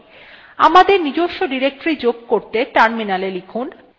আমাদের নিজস্ব directory যোগ করতে terminal লিখুন